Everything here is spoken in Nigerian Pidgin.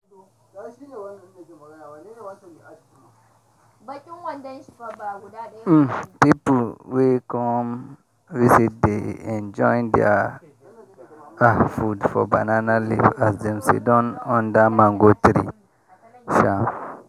um pipu wey come visit dey enjoy their um food for banana leaf as dem sidon under mango tree. um